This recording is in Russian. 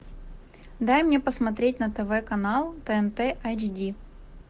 дай мне посмотреть на тв канал тнт эйч ди